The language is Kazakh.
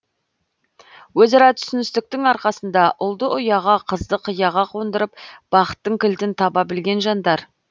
өзара түсіністіктің арқасында ұлды ұяға қызды қияға қондырып бақыттың кілтін таба білген жандар